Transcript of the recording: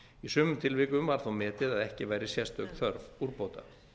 í sumum tilvikum var þó metið að ekki væri sérstök þörf úrbóta